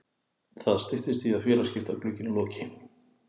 Það styttist í að félagaskiptaglugginn loki.